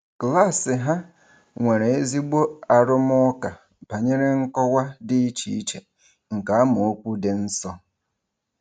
Klaasị ha nwere ezigbo arụmụka banyere nkọwa dị iche iche nke amaokwu dị nsọ.